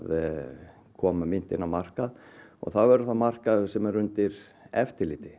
koma myntinni á markað og það verður þá markaður sem verður undir eftirliti